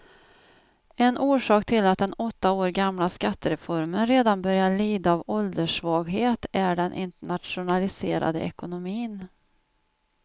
En orsak till att den åtta år gamla skattereformen redan börjar lida av ålderssvaghet är den internationaliserade ekonomin.